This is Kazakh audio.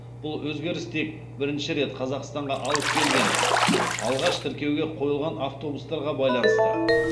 бұл өзгеріс тек бірінші рет қазақстанға алып келген алғаш тіркеуге қойылған автобустарға байланысты